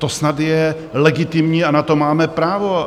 To snad je legitimní a na to máme právo.